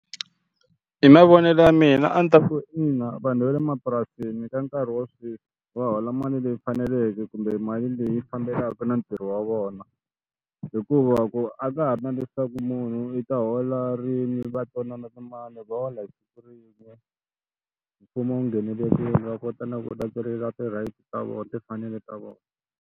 Hi mavonelo ya mina a ndzi ta ku ina vanhu va le mapurasini ka nkarhi wa sweswi va hola mali leyi faneleke kumbe mali leyi fambelaka na ntirho wa vona hikuva ku a ka ha ri na leswaku munhu u ta hola rini va timali va hola hi siku rin'we mfumo nghenelerile va kota na ku ti-rights ta vona timfanelo ta vona.